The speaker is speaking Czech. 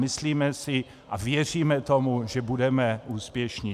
Myslíme si a věříme tomu, že budeme úspěšní.